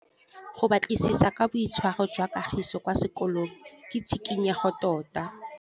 Go batlisisa ka boitshwaro jwa Kagiso kwa sekolong ke tshikinyêgô tota.